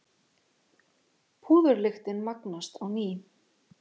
Púðurlyktin magnast á ný.